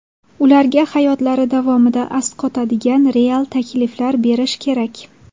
Ularga hayotlari davomida asqatadigan real takliflar berish kerak.